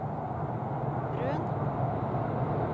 Røn